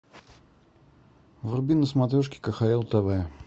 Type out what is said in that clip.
вруби на смотрешке кхл тв